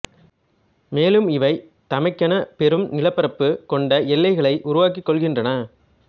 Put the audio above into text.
மேலும் இவை தமக்கென பெரும் நிலப்பரப்பு கொண்ட எல்லைகளை உருவாக்கிக் கொள்கின்றன